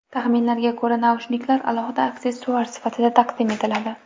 Taxminlarga ko‘ra, naushniklar alohida aksessuar sifatida taqdim etiladi.